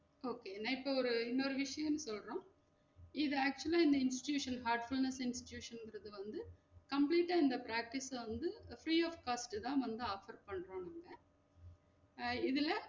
Okay நா இப்போ ஒரு இன்னொரு விஷயம் சொல்றோம் இது actually ஆ இந்த institution heartfulness institution இங்கறது வந்து complete ஆ இந்த practice ல வந்து free of cost உ தான் வந்து offer பண்ரோம்ங்க அஹ் இதுல,